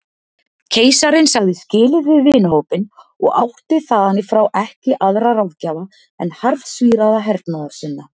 Keisarinn sagði skilið við vinahópinn og átti þaðanífrá ekki aðra ráðgjafa en harðsvíraða hernaðarsinna.